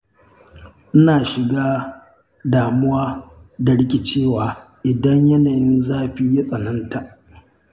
Ina shiga damuwa da rikicewa idan yanayin zafi ya tsananta.